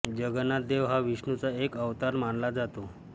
जगन्नाथ देव हा विष्णूचा एक अवतार मानला जातो